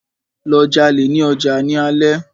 Lọ jalè ní ọjà ní alé!